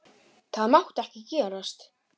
Það mátti ekki gerast.